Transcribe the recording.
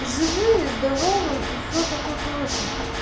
живые здоровые и всё такое прочее